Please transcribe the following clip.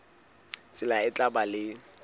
tsela e tla ba le